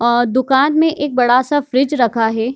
और दुकान में एक बड़ा-सा फ्रिज रखा है।